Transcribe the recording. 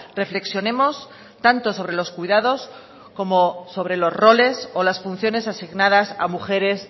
reflexionemos tanto sobre los cuidados como sobre los roles o las funciones asignadas a mujeres